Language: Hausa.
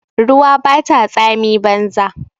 Ruwa bata tsami banza.